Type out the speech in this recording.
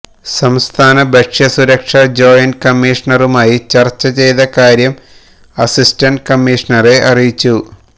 സംസ്ഥാന ഭക്ഷ്യ സുരക്ഷാ ജോയിന്റ് കമ്മീഷണറുമായി ചർച്ച ചെയ്ത കാര്യം അസിസ്റ്റന്റ് കമ്മീഷൻറെ അറിയിച്ചു